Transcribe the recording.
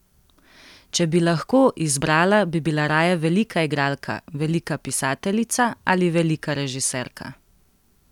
Če bi lahko izbrala, bi bila raje velika igralka, velika pisateljica ali velika režiserka?